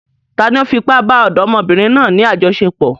Tani ó fi ipá bá ọ̀dọ́mọbìnrin náà ní àjọṣepọ̀?